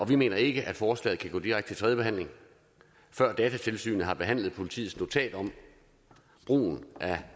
vi mener ikke at forslaget kan gå direkte til tredje behandling før datatilsynet har behandlet politiets notat om brugen af